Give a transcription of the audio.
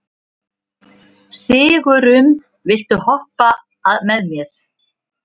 Sigurunn, viltu hoppa með mér?